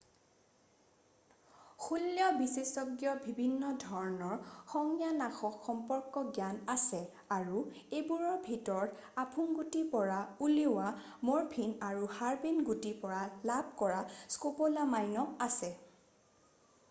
শৈল্য বিশেষজ্ঞৰ বিভিন্ন ধৰণৰ সংজ্ঞানাশক সম্পৰ্কে জ্ঞান আছে আৰু এইবোৰৰ ভিতৰত আফুগুটিৰ পৰা উলিওৱা মৰফিন আৰু হাৰ্বেন গুটিৰ পৰা লাভ কৰা স্কপ'লামাইনো আছে